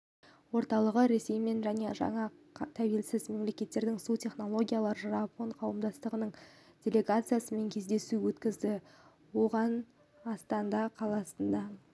орталығы ресеймен және жаңа тәуелсіз мемлекеттермен су технологиялары жапон қауымдастығының делегациясымен кездесу өткізді оғанастана қаласының